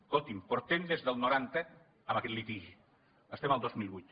escoltin portem des del noranta amb aquest litigi estem al dos mil vuit